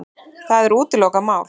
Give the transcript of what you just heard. Það er útilokað mál.